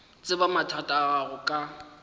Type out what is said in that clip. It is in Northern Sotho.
tseba mathata a gago ke